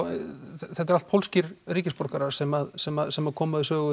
þetta eru allt pólskir ríkisborgarar sem sem sem koma við sögu